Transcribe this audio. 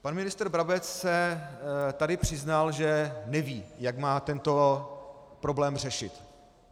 Pan ministr Brabec se tady přiznal, že neví, jak má tento problém řešit.